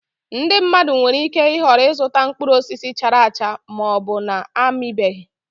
Ndị mmadụ nwere ike ịhọrọ ịzụta mkpụrụ osisi chara acha ma ọ bụ na-amịbeghị